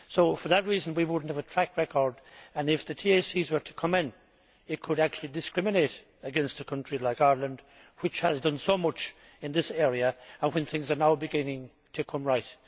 For that reason we would not have a track record and, if the TACs were to come in, it could actually discriminate against a country like Ireland, which has done so much in this area, when things are beginning to come right.